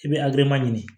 I bɛ ɲini